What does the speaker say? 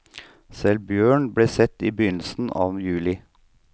Selv bjørn ble sett i begynnelsen av juli.